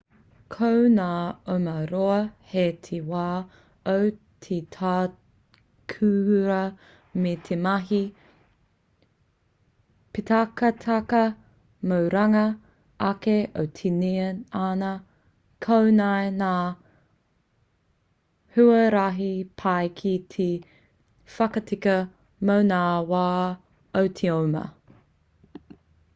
ko ngā oma roa hei te wā o te takurua me te mahi pītakataka mō runga ake o te tinana koinei ngā huarahi pai ki te whakatika mō ngā wā o te oma